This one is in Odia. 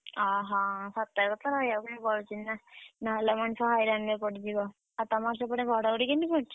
ଅହଁ ସତର୍କତ ରହିବା ପାଇଁ ପଡୁଛି ନା! ନହେଲେ ମଣିଷ ହଇରାଣରେ ପଡିଯିବ। ଆଉ ତମର ସେପଟେ ଘଡଘଡି କେମିତି ପଡୁଚି?